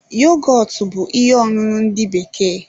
Yogọtu bú ihe ọṅụṅụ ndị bekee